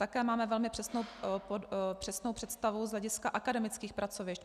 Také máme velmi přesnou představu z hlediska akademických pracovišť.